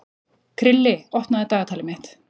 Krilli, opnaðu dagatalið mitt.